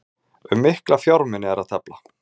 Um mikla fjármuni er að tefla